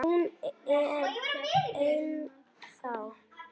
Hún er ennþá.